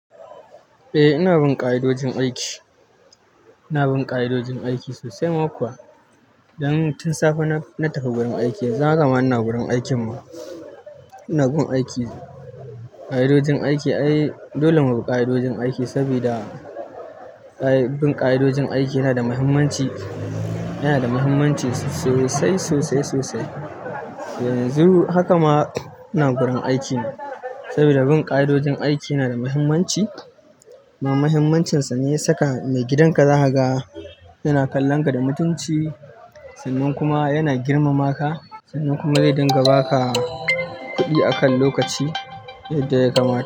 Eh ina bin ƙa'idojin aiki. Ina bin ƙa'idojin aiki sosai ma kuwa. Dan tun safe na tafi gurin aiki, yanzu haka ma ina gurin aikin ma ina gun aiki, ƙa'idojin aiki ai dolle mu bi ƙa'idojin aiki, sabida bin ƙa'idojin aiki yana da muhimmanci, yana da muhimmanci sosai, sosai, sosai. Yanzu haka ma ina gurin aiki sabida bin ƙa'idojin aiki yana da muhimmanci. Kuma mahimmacinsa ne ya saka mai gidanka zakaga yana kallon ka da mutunci sannan kuma yana girmama ka sannan kuma zai dinga ba ka kuɗi akan lokaci yadda ya kamata.